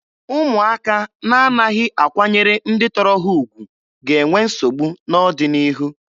Ụmụaka na-anaghị akwanyere ndị tọrọ ha ugwu ga-enwe nsogbu n'ọdịnihu.